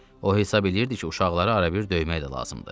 O hesab eləyirdi ki, uşaqları arabir döymək də lazımdı.